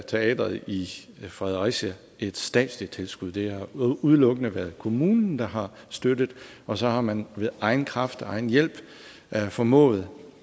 teatret i fredericia et statsligt tilskud det har udelukkende været kommunen der har støttet og så har man ved egen kraft og egen hjælp formået